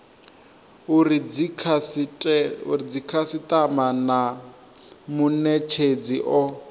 uri dzikhasitama na munetshedzi o